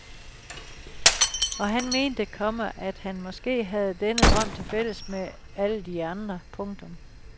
Og han mente, komma at han måske havde denne drøm til fælles med alle de andre. punktum